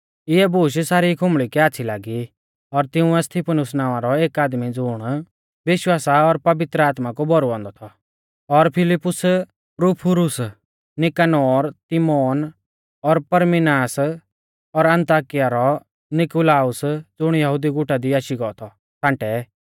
इऐ बूश सारी खुंबल़ी कै आच़्छ़ी लागी और तिंउऐ स्तिफनुस नावां रौ एक आदमी ज़ुण विश्वास और पवित्र आत्मा कु भौरुऔ थौ और फिलिप्पुस प्रुफुरुस नीकानोर तिमोन और परमिनास और अन्ताकिया रौ नीकुलाउस ज़ुण यहुदी गुटा दी आशी गौ थौ छ़ांटै